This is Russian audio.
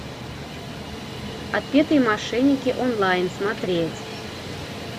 отпетые мошенники онлайн смотреть